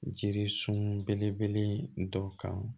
Jiri sun belebele dɔ kan